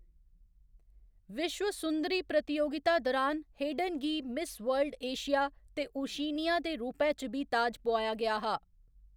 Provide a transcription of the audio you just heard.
विश्व सुंदरी प्रतियोगिता दुरान हेडन गी मिस वर्ल्ड एशिया ते ओशिनिया दे रूपै च बी ताज पोआया गेआ हा।